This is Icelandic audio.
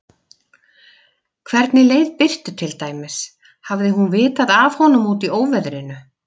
Hvernig leið Birtu til dæmis, hafði hún vitað af honum úti í óveðrinu?